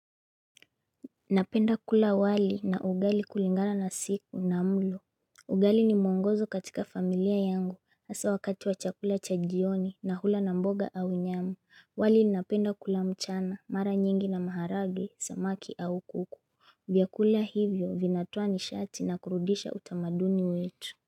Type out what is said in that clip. Napenda kula wali na ugali kulingana na siku na mlo ugali ni mwongozo katika familia yangu hasa wakati wa chakula cha jioni na hula na mboga au nyama, wali napenda kula mchana mara nyingi na maharage samaki au kuku vyakula hivyo vinatoa nishati na kurudisha utamaduni wetu.